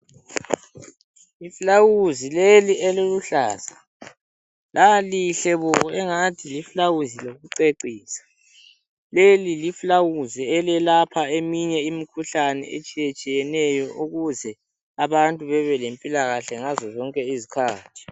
iflawuzi leli eliluhlaza lalihle bo engani liflawuzi lokucecisa leli liflawuzi elelapha eminye imikhuhlane etshiyetshiyeneyo ukuze bantu bebelempilakahle ngazo zonke izikhathi